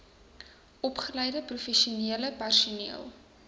opgeleide professionele personeel